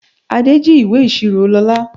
Adé jí ìwé ìṣirò Lóla.